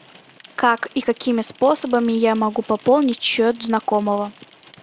как и какими способами я могу пополнить счет знакомого